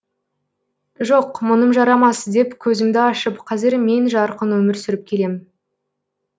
жоқ мұным жарамас деп көзімді ашып қазір мен жарқын өмір сүріп келем